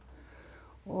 og